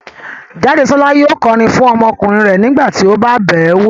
Jádesọ́lá yóò kọrin fún ọmọkùnrin rẹ̀ nígbà tí ó bá bẹ̀ẹ́ wo